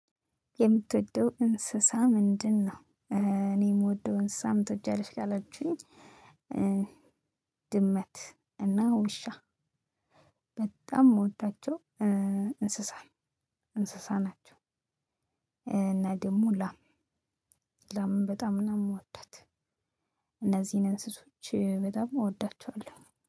የምትወደው እንስሳ ምንድ ነው? እኔ የምወደው እንስሳ ምን ትወጂያለሽ ካላችሁኝ ድመት እና ውሻ። በጣም የምወዳቸው እንስሳ እንስሳ ናቸው። እና ደግሞ ላም ላምም በጣም ነው የሚወዳት እነዚህን እንስሶች በጣም እወዳቸዋለሁ